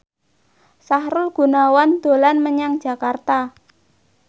Sahrul Gunawan dolan menyang Jakarta